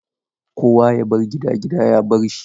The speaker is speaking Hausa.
Kowa ya bar gida, gida ya bar shi.